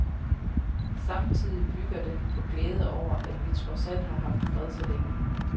Samtidig bygger den på glæde over, at vi trods alt har haft fred så længe.